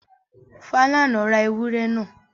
Falana ra ewúrẹ́ náà.